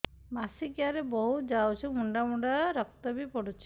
ମାସିକିଆ ରେ ବହୁତ ଯାଉଛି ମୁଣ୍ଡା ମୁଣ୍ଡା ରକ୍ତ ବି ପଡୁଛି